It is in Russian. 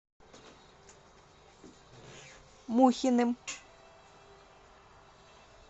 мухиным